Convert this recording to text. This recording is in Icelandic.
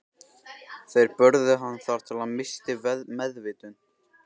Þeir börðu hann þar til hann missti meðvitund.